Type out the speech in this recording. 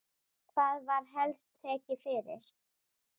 Hvað var helst tekið fyrir?